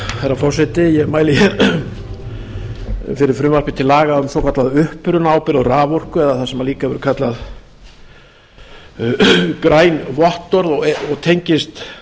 herra forseti ég mæli hér fyrir frumvarpi til laga um svokallaða upprunaábyrgð á raforku eða það sem líka hefur verið kallað græn vottorð og tengist